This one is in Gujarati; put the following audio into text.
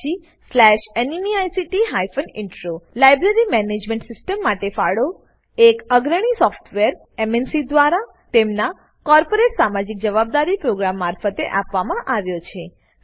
httpspoken tutorialorgNMEICT Intro library management system માટે ફાળો એક અગ્રણી સોફ્ટવેર એમએનસી દ્વારા તેમનાં કોર્પોરેટ સામાજિક જવાબદારી પ્રોગ્રામ મારફતે આપવામાં આવ્યો છે